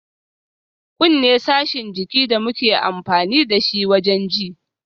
Kunne sashin jikin da muke amfani dashi wajen ji